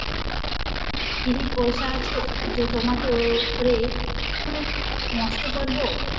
free পয়সা আছে যে তোমাদের উপরে নষ্ট করবো?